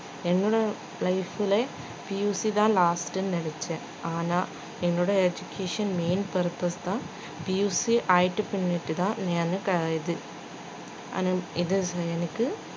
என்னோட life ல PUC தான் last ட்டுனு நினைச்சேன் ஆனா என்னோட education main purpose